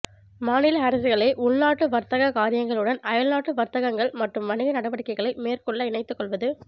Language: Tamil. மாநில அரசுகளை உள்நாட்டு வர்த்தக காரியங்களுடன் அயல் நாட்டு வர்த்தகங்கள் மட்டும் வணிக நடவடிக்கைகளை மேற்கொள்ள இணைத்துக் கொள்வது